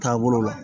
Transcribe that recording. Taabolo la